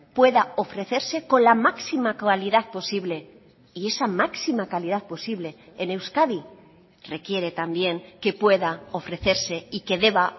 pueda ofrecerse con la máxima calidad posible y esa máxima calidad posible en euskadi requiere también que pueda ofrecerse y que deba